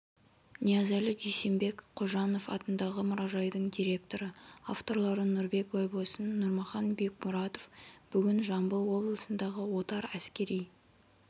ниязәлі дүйсенбек қожанов атындағы мұражайдың директоры авторлары нұрбек байбосын нұрмахан бекмұратов бүгін жамбыл облысындағы отар әскери